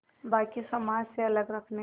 बाक़ी समाज से अलग रखने